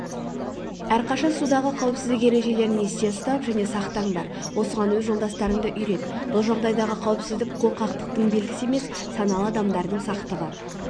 әрқашан судағы қауіпсіздік ережелерін есте ұстап және сақтаңдар осыған өз жолдастарыңды үйрет бұл жағдайдағы қауіпсіздік қорқақтыңтың белгісі емес саналы адамдардың сақтығы